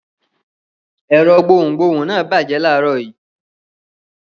Ẹ̀rọ gbohùngbohùn náà bàjẹ́ láàárọ̀ yìí.